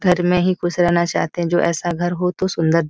घर में ही खुश रहना चाहते हैं जो ऐसा घर हो तो सुन्दर --